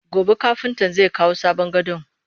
Gobe kafintan zai kawo sabon gadon